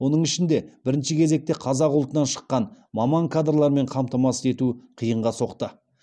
оның ішінде бірінші кезекте қазақ ұлтынан шыққан маман кадрлармен қамтамасыз ету қиынға соқты